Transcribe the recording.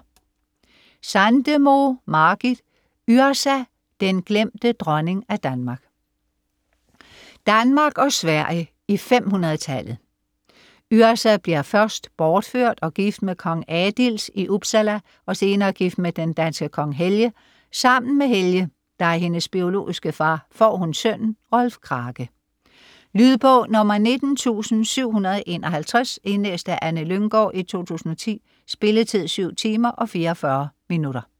Sandemo, Margit: Yrsa: den glemte dronning af Danmark Danmark og Sverige i 500-tallet. Yrsa bliver først bortført og gift med kong Adils i Uppsala og senere gift med den danske kong Helge. Sammen med Helge, der er hendes biologiske far, får hun sønnen Rolf Krake. Lydbog 19751 Indlæst af Anne Lynggaard, 2010. Spilletid: 7 timer, 44 minutter.